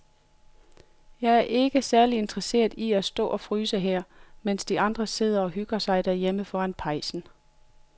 Jeg er ikke særlig interesseret i at stå og fryse her, mens de andre sidder og hygger sig derhjemme foran pejsen.